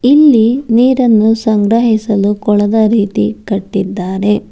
ಇಲ್ಲಿ ನೀರನ್ನು ಸಂಗ್ರಹಿಸಲು ಕೊಳದ ರೀತಿ ಕಟ್ಟಿದ್ದಾರೆ.